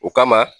O kama